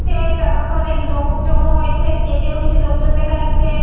ছে চারপাশে অনেক লোক জমা হয়েছে। স্টেজে -ও কিছু লোকজন দেখা যাচ্ছে।